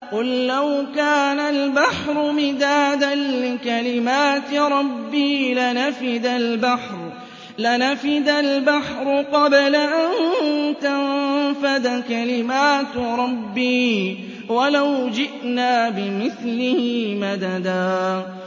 قُل لَّوْ كَانَ الْبَحْرُ مِدَادًا لِّكَلِمَاتِ رَبِّي لَنَفِدَ الْبَحْرُ قَبْلَ أَن تَنفَدَ كَلِمَاتُ رَبِّي وَلَوْ جِئْنَا بِمِثْلِهِ مَدَدًا